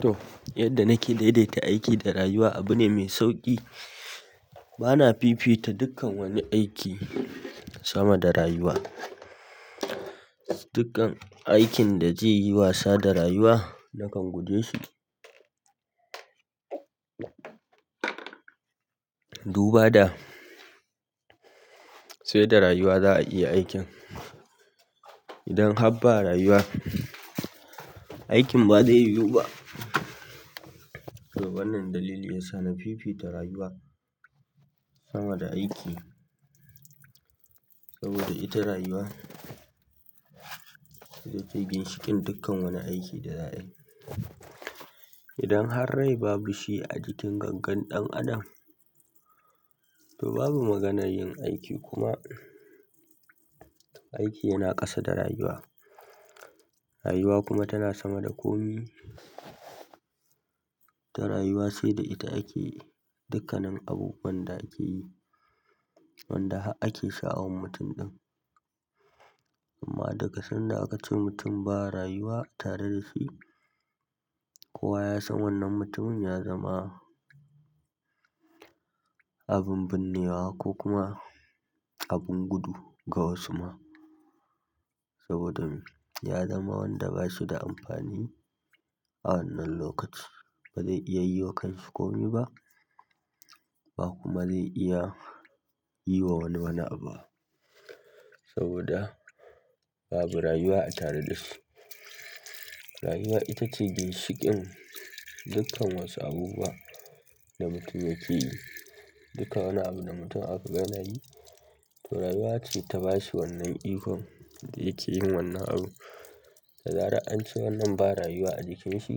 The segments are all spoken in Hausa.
To yanda nake daidaita aiki da rayuwa abu ne mai sauƙi bana fifita dukkan wani aiki sama da rayuwa. Dukkan aikin da zai yi wasa da rayuwa nakan guje su. Duba da, sai da rayuwa za a iya aikin. Idan har ba rayuwa, aikin ba zai yiwu ba. To wannan dalili ya sa na fifita rayuwa sama da aiki. Saboda ita rayuwa ita ce ginshiƙin dukkan wani aiki da za a yi. Idan har rai babu shi a jikin gangan ɗan adam, to babu maganar yin aiki kuma. Aiki yana ƙasa da rayuwa. Rayuwa kuma tana sama da kome. Ita rayuwa sai da ita ake dukkanin abubuwan da ake yi, wanda har ake sha'awar mutum ɗin. Amma daga sanda aka ce mutum ba rayuwa tare da shi, kowa ya san wannan mutumin ya zama abin binnewa ko kuma abin gudu ga wasu ma. Saboda ya zama wanda ba shi da amfani a wannan lokaci. Ba zai iya yi wa kan shi komi ba, ba kuma zai iya yi wa wani wani abu ba. Saboda babu rayuwa a tare da shi. Rayuwa ita ce ginshiƙin dukkan wasu abubuwan da mutum yake yi. Dukkan wani abu da mutum aka gani yana yi, to rayuwa ce ta ba shi wannan ikon da yake yin wannan abun. Da zarar an ce wannan ba rayuwa a jikin shi,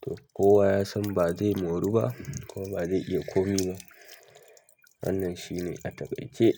to kowa ya san ba zai moru ba kuma ba zai iya komi ba. Wannan shi ne a takaice.